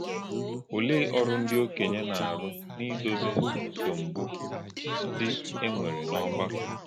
Olè̄e ọ̀rụ̀ ndị́ òkè̄nyè̄ na - àrụ́ n’ìdò̄zì̄ nsọ̀mbù̄ ndị́ e nwèrè̄ n’ọ̀gbàkọ̄?